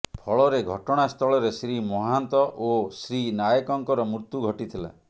ଫଳରେ ଘଟଣାସ୍ଥଳରେ ଶ୍ରୀ ମହାନ୍ତ ଓ ଶ୍ରୀ ନାୟକଙ୍କର ମୃତ୍ୟୁ ଘଟିଥିଲା